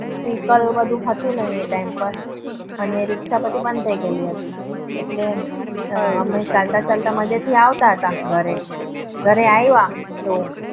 vehicle એ બધું હતું નહિ. આ ટાઈમ પર રીક્ષા ઓ બધી બન થઇ ગઈ હતી. એમ ચાલતા ચાલતા માંજે થી આવતા હતા. ઘરે આવિયા તો